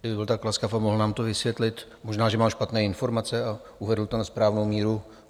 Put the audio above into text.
Kdyby byl tak laskav a mohl nám to vysvětlit - možná že mám špatné informace - a uvedl to na správnou míru.